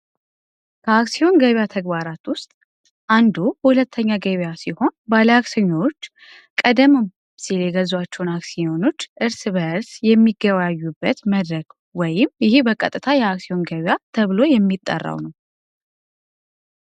አክሲዮን ገበያ ውስጥ አንዱ ሁለገብ ገበያ ሲሆን አክሲዮኖች የሚገባበት መድረክ ወይም ይሄ በቀጥታ የአክሲዮን ገበያ ተብሎ የሚጠራው ነው።